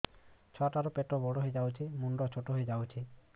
ଛୁଆ ଟା ର ପେଟ ବଡ ହେଇଯାଉଛି ମୁଣ୍ଡ ଛୋଟ ହେଇଯାଉଛି